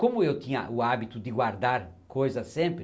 Como eu tinha o hábito de guardar coisas sempre,